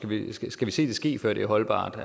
vi skal se det ske før det er holdbart